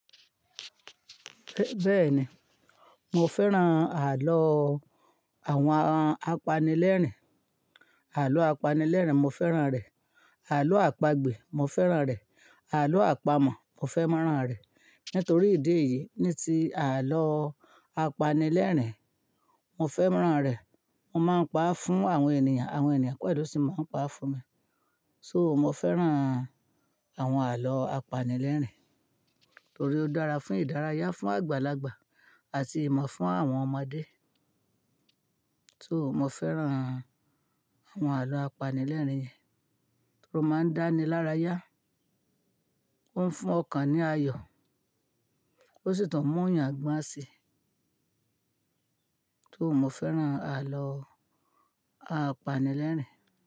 Bẹ́ẹ̀ni, mo fẹ́ràn àló àwọn apanilẹ́rìn. Àló apanilẹ́rìn mo fẹ́ràn rẹ̀. Àló àpagbè mo fẹ́ràn rẹ̀. Àló àpamọ̀ mo fẹ́ràn rẹ̀. Nítorí ìdí èyí ní tí àló apanilẹ́rìn mo fẹ́ràn rẹ̀. Mo máa ń pa fún àwọn ènìyàn, àwọn ènìyàn pẹ̀lú sì máa ń pa fún mi. So mo fẹ́ràn àwọn àló apanilẹ́rìn torí ó dára fún ìdárayá, fún àgbàlagbà àti ìmọ̀ fún àwọn ọmọdé. So mo fẹ́ràn àwọn àló apanilẹ́rìn yẹn, ó máa ń dánilaraya, ó ń fún ọkàn ní ayọ̀, ó sì tún mú'yàn gbọ́n si. So mo fẹ́ràn àló apanilẹ́rìn.